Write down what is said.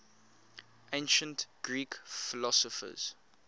ancient greek philosophers